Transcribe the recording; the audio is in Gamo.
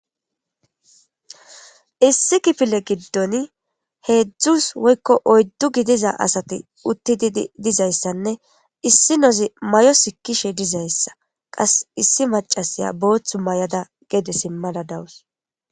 Issi kifile giddon heedzdzu woyikko gidiza asati uttidi dizaysanne issinozi mayo sikkishe dizaysa. Qas issi maccasiya booththu mayada gede simmada dawus.